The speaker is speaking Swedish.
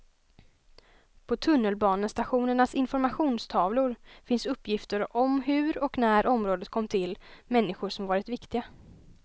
På tunnelbanestationernas informationstavlor finns uppgifter om hur och när området kom till, människor som varit viktiga.